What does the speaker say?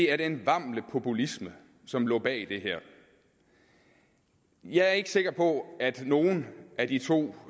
er den vamle populisme som lå bag det her jeg er ikke sikker på at nogen af de to